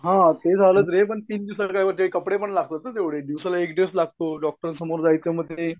हा ते झालंच रे पण तीन दिवसात काय होतंय कपडे पण लागतात ना एवढे दिवसाला एक ड्रेस लागतो डॉक्टर समोर जायचं म्हणजे.